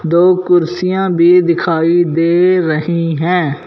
दो कुर्सियां भी दिखाई दे रही है।